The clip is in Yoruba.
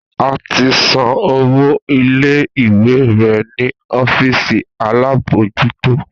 A ti san owó ilé ìwé rè ni ọ́fíìsì alábòójútó